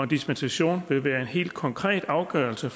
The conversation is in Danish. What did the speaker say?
dispensation vil være en helt konkret afgørelse